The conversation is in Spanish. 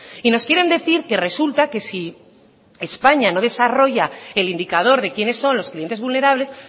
y nos quieren decir que resulta que si españa no desarrolla el indicador de quiénes son los clientes vulnerables